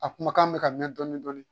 A kumakan bɛ ka mɛn dɔɔnin dɔɔnin